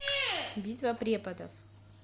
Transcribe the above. битва преподов